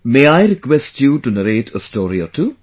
May I request you to narrate a story or two